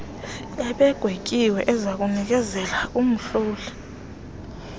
ebegwetyiwe ezakunikezelwa kumhloli